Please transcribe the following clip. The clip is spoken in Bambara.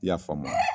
I y'a faamuya